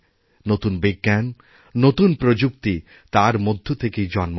নতুন বিজ্ঞান নতুন প্রযুক্তি তার মধ্যেথেকেই জন্ম নেয়